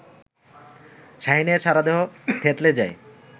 শাহীনের সারাদেহ থেতলে যায়